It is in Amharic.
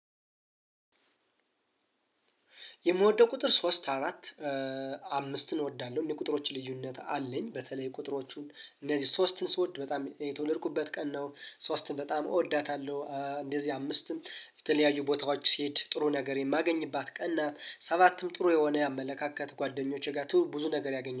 የምወደው ቁጥር ሶስት አራት አምስትን እወዳለሁ። እኔ ቁጥሮች ልዩነት አለኝ በተለይ ቁጥሮቹን እነዚህ ሶስትን ስወድ በጣም የተወለድኩበት ቀን ነው። ሶስትን በጣም እወዳታለሁ እንደዚህ አምስትም የተለያዩ ቦታዎች ሲሄድ ጥሩ ነገሬን የማገኝባት ቀን ናት። ሰባትም ጥሩ የሆነ አመለካከት ጓደኞቼ ጋር ብዙ ነገር ያገኘ